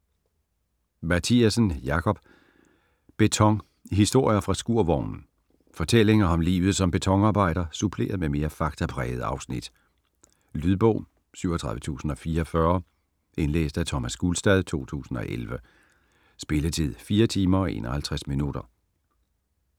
Mathiassen, Jakob: Beton: historier fra skurvognen Fortællinger om livet som betonarbejder suppleret med mere faktaprægede afsnit. Lydbog 37044 Indlæst af Thomas Gulstad, 2011. Spilletid: 4 timer, 51 minutter.